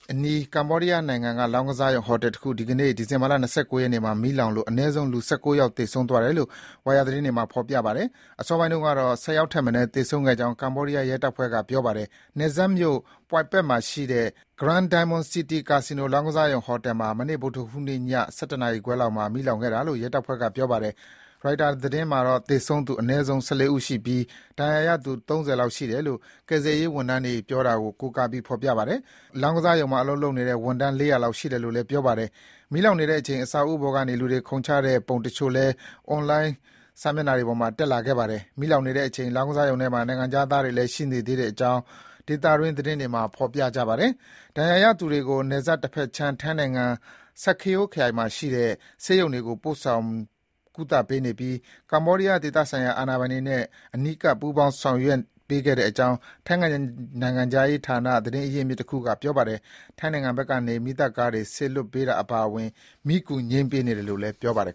အနီး ကမ္ဘောဒီးယားနိုင်ငံက လောင်းကစားရုံဟိုတယ်တခု ဒီကနေ့ ဒီဇင်ဘာ ၂၉ ရက်နေ့မှာ မီးလောင်လို့ အနည်းဆုံး လူ ၁၉ ယောက် သေဆုံးသွားတယ်လို့ ဝိုင်ယာသတင်းတွေမှာ ဖော်ပြပါတယ်။ အစောပိုင်းတုန်းကတော့ ၁၀ ယောက်ထက်မနည်း သေဆုံးကြောင်း ကမ္ဘောဒီးယားရဲတပ်ဖွဲ့က ပြောပါတယ်။ နယ်စပ်မြို့ Poipet မှာရှိတဲ့ Grand Diamond City ကာစီနို လောင်းကစားရုံဟိုတယ်မှာ မနေ့ ဗုဒ္ဓဟူးနေ့ည ၁၁ နာရီခွဲလောက်မှာ မီးလောင်ခဲ့တာလို့ ရဲတပ်ဖွဲ့က ပြောပါတယ်။ ရိုက်တာသတင်းမှာတော့ သေဆုံးသူ အနည်းဆုံး ၁၄ ဦးရှိပြီး ဒဏ်ရာရသူ ၃၀ လောက်ရှိတယ်လို့ ကယ်ဆယ်ရေးဝန်ထမ်းတွေကို ကိုးကား ဖော်ပြပါတယ်။ လောင်းကစားရုံမှာအလုပ်လုပ်တဲ့ဝန်ထမ်း ၄၀၀ လောက် ရှိတယ်လို့လည်း ပြောပါတယ်။ မီးလောင်နေတဲ့အချိန် အဆောက်အဦးပေါ်ကနေ လူတွေခုန်ချကြတဲ့ပုံတချို့လည်း အွန်လိုင်းစာမျက်နှာတွေပေါ်မှာ တက်လာပါတယ်။ မီးလောင်နေတဲ့အချိန် လောင်းကစားရုံထဲမှာ နိုင်ငံခြားသားတွေလည်း ရှိနေတဲ့အကြောင်း ဒေသတွင်းသတင်းတွေမှာ ဖော်ပြပါတယ်။ ဒဏ်ရာရသူတွေကို နယ်စပ်တဘက်ခြမ်း ထိုင်းနိုင်ငံက Sa Kaeo ခရိုင်မှာရှိတဲ့ ဆေးရုံတွေကို ပို့ဆောင် ကုသပေးနေပြီး ကမ္ဘောဒီးယား ဒေသဆိုင်ရာ အာဏာပိုင်တွေနဲ့ အနီးကပ် ပူးပေါင်းကူညီဆောင်ရွက်ပေးနေကြောင်း ထိုင်းနိုင်ငံခြားရေးဌာန သတင်းရင်းမြစ်တခုက ပြောပါတယ်။ ထိုင်းနိုင်ငံဘက်ကနေ မီးသတ် ကားတွေ စေလွှတ်ပေးတာအပါအဝင် မီးကူ ငြိမ်းသတ်ပေးနေတယ်လို့လည်း ပြောပါတယ်